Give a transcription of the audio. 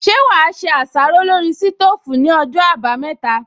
Ṣé wà á se àsáró lórí sítóòfù ní ọjọ́ àbámẹ́ta